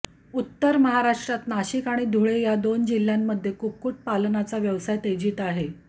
उत्तर महाराष्ट्रात नाशिक आणि धुळे या दोन जिल्ह्यांमध्ये कुक्कुटपालनाचा व्यवसाय तेजीत आहे